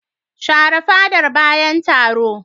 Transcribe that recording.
Shafa fadar bayan taro.